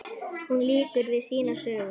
Hún lýkur við sínar sögur.